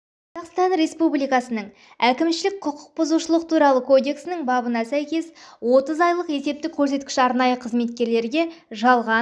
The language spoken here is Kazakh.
қазақстан республикасының әкімшілік құқық бұзушылық туралы кодекстің бабына сәйкес отыз айлық есептік көрсеткіш арнайы қызметтерге жалған